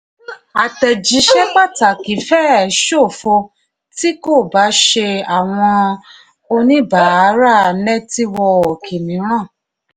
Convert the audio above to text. àtẹ̀jíṣẹ́ pàtàkì fẹ́ẹ̀ ṣòfo tí kò bá ṣe àwọn oníbàárà nẹ́tíwọ́ọ̀kì mìíràn.